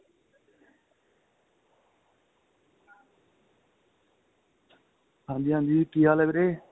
ਹਾਂਜੀ ਹਾਂਜੀ ਕਿ ਹਾਲ ਏ ਵੀਰੇ